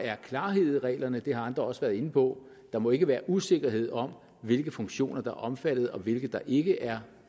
er klarhed i reglerne det har andre også været inde på der må ikke være usikkerhed om hvilke funktioner der er omfattet og hvilke der ikke er